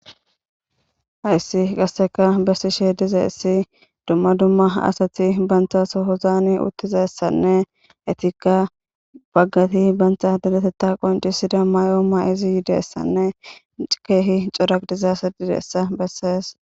Hayssi qasseka bessi she dize issi dumma dumma asati banthas hozaani uttizessanne etikka baggati bantha deletetta qoncisida may'oo ma izi yidessanne keehi coraqdizasa didessa bessees.